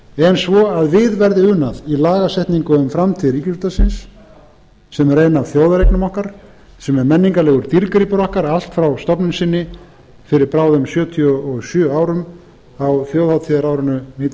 en svo að við verði unað í lagasetningu um framtíð ríkisútvarpsins sem er ein af þjóðareignum okkar sem er menningarlegur dýrgripur okkar allt frá stofnun sinni fyrir bráðum sjötíu og sjö árum á þjóðhátíðarárinu